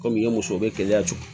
Kɔmi i ye muso bɛ gɛlɛya cɔ